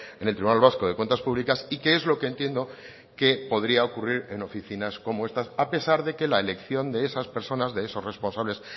en el tribunal vasco de cuentas públicas y que es lo que entiendo que podría ocurrir en oficinas como estas a pesar de que la elección de esas personas de esos responsables